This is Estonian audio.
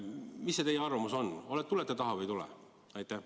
Mis teie arvamus on, tulete taha või ei tule?